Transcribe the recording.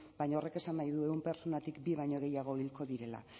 baina horrek esan nahi du ehun pertsonatik bi baino gehiago hilko direla